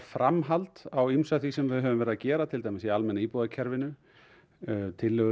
framhald á því sem við höfum verið að gera til dæmis í almenna íbúðarkerfinu tillögur